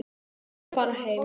Ég ætla að fara heim.